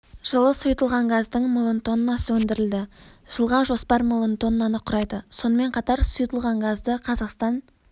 жылы сұйытылған газдың миллион тоннасы өндірілді жылға жоспар миллион тоннаны құрайды сонымен қатар сұйытылған газды қазақстан